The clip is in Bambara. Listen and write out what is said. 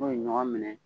N'o ye ɲɔgɔn minɛ